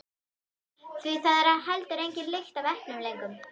Því það er heldur engin lykt af eplum lengur.